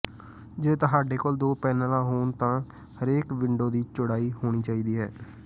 ਜੇ ਤੁਹਾਡੇ ਕੋਲ ਦੋ ਪੈਨਲਾਂ ਹੋਣ ਤਾਂ ਹਰੇਕ ਵਿੰਡੋ ਦੀ ਚੌੜਾਈ ਹੋਣੀ ਚਾਹੀਦੀ ਹੈ